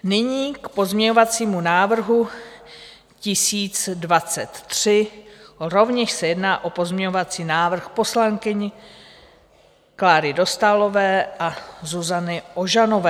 Nyní k pozměňovacímu návrhu 1023, rovněž se jedná o pozměňovací návrh poslankyň Kláry Dostálové a Zuzany Ožanové.